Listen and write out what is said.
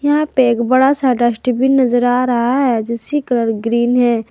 यहां पे एक बड़ा सा डस्टबिन नजर आ रहा है जिसकी कलर ग्रीन है।